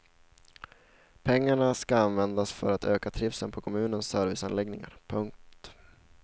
Pengarna ska användas för att öka trivseln på kommunens serviceanläggningar. punkt